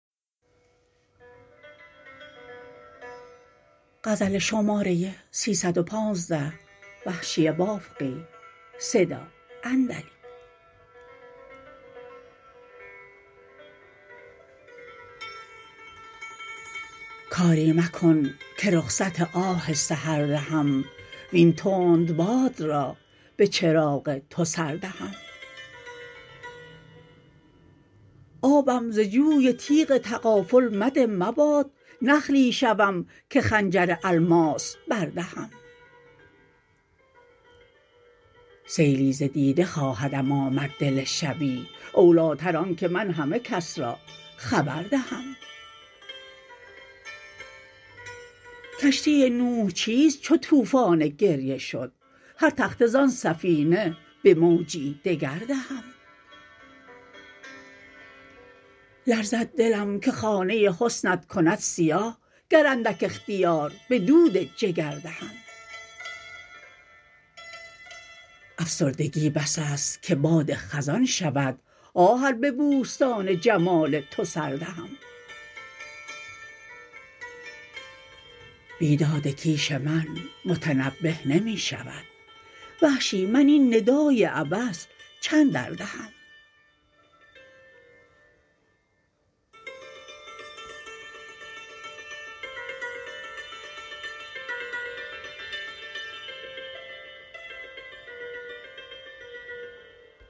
کاری مکن که رخصت آه سحر دهم وین تند باد را به چراغ تو سردهم آبم ز جوی تیغ تغافل مده مباد نخلی شوم که خنجر الماس بردهم سیلی ز دیده خواهدم آمد دل شبی اولیتر آنکه من همه کس را خبر دهم کشتی نوح چیست چو توفان گریه شد هرتخته زان سفینه به موجی دگر دهم لرزد دلم که خانه حسنت کند سیاه گر اندک اختیار به دود جگر دهم افسردگی بس است که باد خزان شود آه ار به بوستان جمال تو سر دهم بیداد کیش من متنبه نمی شود وحشی من این ندای عبث چند دردهم